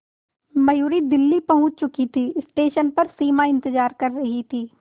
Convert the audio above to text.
मयूरी दिल्ली पहुंच चुकी थी स्टेशन पर सिमा इंतेज़ार कर रही थी